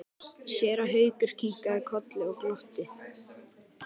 Séra Haukur kinkaði kolli og glotti.